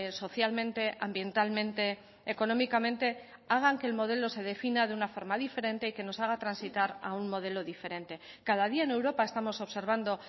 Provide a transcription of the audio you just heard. socialmente ambientalmente económicamente hagan que el modelo se defina de una forma diferente y que nos haga transitar a un modelo diferente cada día en europa estamos observando